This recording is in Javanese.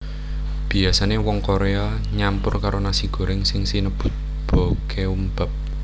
Biasane wong Korea nyampur karo nasi goreng sing sinebut bokeumbap